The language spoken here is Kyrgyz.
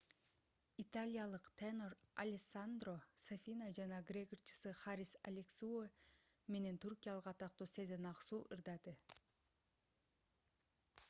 италиялык тенор алессандро сафина жана грек ырчысы харис алексиу менен түркиялык атактуу сезен аксу ырдады